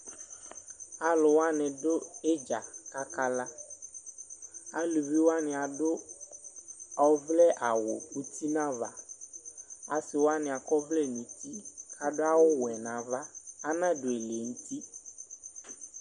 alʋwani dʋ idza kakala alʋviwani adʋ ɔvlɛ awʋ ʋti nava asiwani akɔ ɔvlɛ nʋti kadʋ awʋ wɛ nava anadʋ ɛlɛnʋti